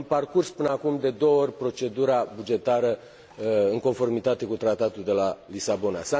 Am parcurs până acum de două ori procedura bugetară în conformitate cu Tratatul de la Lisabona.